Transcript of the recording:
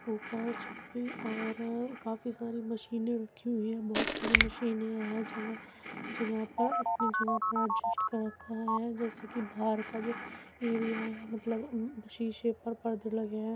ऊपर छत पर और काफी सारी मशीने रखी हुई हैं बोहोत सारी मशीने हैं | जगह जगह पर अपनी जगह पर एडजस्ट कर रखा है जैसे कि बाहर का जो एरिया है मतलब शीशे पर परदे लगे हैं।